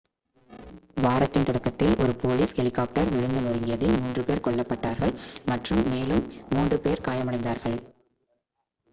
வாரத்தின் தொடக்கத்தில் ஒரு போலீஸ் ஹெலிகாப்டர் விழுந்து நொறுங்கியதில் மூன்று பேர் கொல்லப் பட்டார்கள் மற்றும் மேலும் மூன்று பேர் காயமடைந்தார்கள்